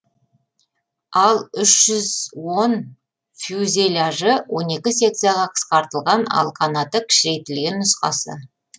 а үш жүз он фюзеляжы он екі секцияға қысқартылған ал қанаты кішірейтілген нұсқасы